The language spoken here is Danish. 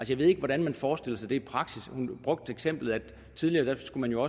jeg ved ikke hvordan man forestiller sig det i praksis hun brugte eksemplet at tidligere skulle man jo